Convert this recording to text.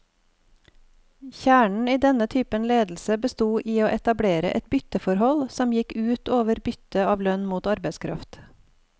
Kjernen i denne typen ledelse bestod i å etablere et bytteforhold, som gikk ut over byttet av lønn mot arbeidskraft.